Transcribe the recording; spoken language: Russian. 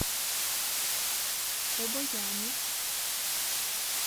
обояни